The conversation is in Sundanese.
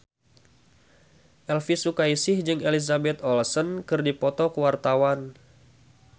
Elvi Sukaesih jeung Elizabeth Olsen keur dipoto ku wartawan